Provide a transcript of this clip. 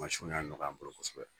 Mansin y'a nɔgɔya an bolo kosɛbɛ